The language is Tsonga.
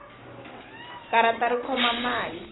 karata ri khoma mali